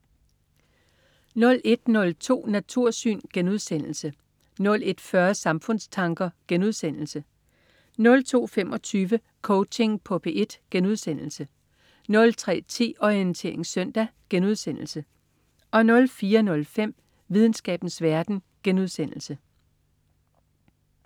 01.02 Natursyn* 01.40 Samfundstanker* 02.25 Coaching på P1* 03.10 Orientering søndag* 04.05 Videnskabens verden*